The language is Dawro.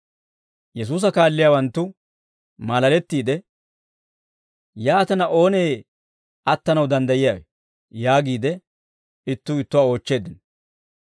Yesuusa kaalliyaawanttu maalalettiide, «Yaatina, oonee attanaw danddayiyaawe?» yaagiide ittuu ittuwaa oochcheeddino.